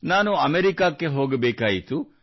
ನಾನು ಅಮೆರಿಕಾಗೆ ಹೋಗಬೇಕಾಯಿತು